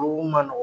O man nɔgɔn